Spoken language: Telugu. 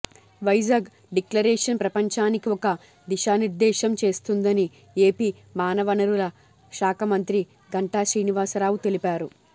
వైజాగ్ డిక్లరేషన్ ప్రపంచానికి ఒక దిశానిర్దేశం చేస్తుందని ఏపీ మానవనరుల శాఖ మంత్రి గంటాశ్రీనివాసరావు తెలిపారు